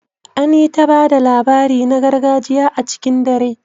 An yi ta ba da labari na gargajiya a cikin dare